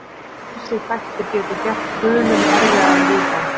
Ýmsir þættir geta gert guluna erfiðari viðfangs.